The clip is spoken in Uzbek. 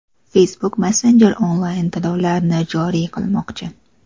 Facebook Messenger onlayn-to‘lovlarni joriy qilmoqchi.